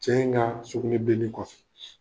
Cɛ in ka sugunɛbileni kɔfɛ.